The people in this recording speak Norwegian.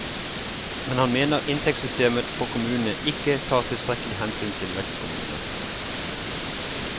Men han mener inntektssystemet for kommunene ikke tar tilstrekkelig hensyn vil vekstkommuner.